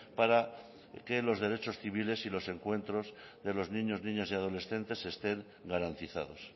para que los derechos civiles y los encuentros de los niños niñas y adolescentes estén garantizados